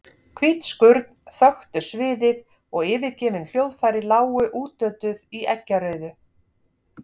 Hvít skurn þöktu sviðið og yfirgefin hljóðfæri lágu útötuð í eggjarauðu.